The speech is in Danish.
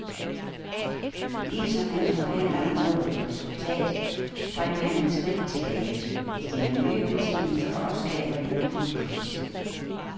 Lige som hans forhandler har nået et resultat, springer han et skridt tilbage, stiller nye betingelser, og skaber en akut krise.